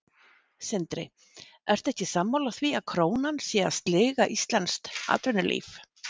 Sindri: Ertu ekki sammála því að krónan sé að sliga íslenskt atvinnulíf?